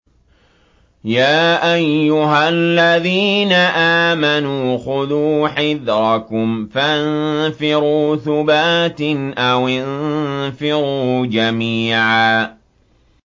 يَا أَيُّهَا الَّذِينَ آمَنُوا خُذُوا حِذْرَكُمْ فَانفِرُوا ثُبَاتٍ أَوِ انفِرُوا جَمِيعًا